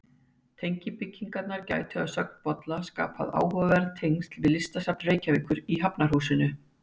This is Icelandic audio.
Tengibyggingarnar gætu, að sögn Bolla, skapað áhugaverð tengsl við Listasafn Reykjavíkur í Hafnarhúsinu.